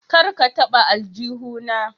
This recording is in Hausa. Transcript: Kar ka taba aljuhu na.